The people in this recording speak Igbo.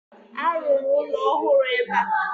A ruru ụlọ ọhụrụ ebe a